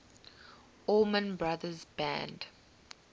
allman brothers band